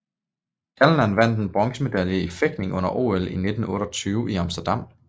Calnan vandt en bronzemedalje i fægtning under OL 1928 i Amsterdam